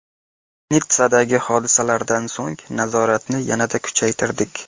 Nitssadagi hodisalardan so‘ng nazoratni yanada kuchaytirdik.